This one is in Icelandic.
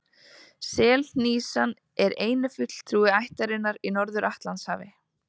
Selhnísan er eini fulltrúi ættarinnar í Norður-Atlantshafi.